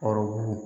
Kɔrɔbugu